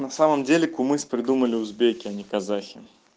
но в самом деле кумыс придумали узбеки а не казахи